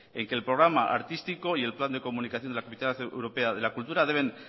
en que el programa artística y el plan de comunicación de la capital europea de la cultura deben